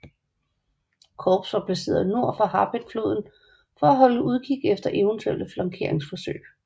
Korps var placeret nord for Harpeth floden for at holde udkig efter eventuelle flankeringsforsøg